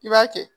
I b'a kɛ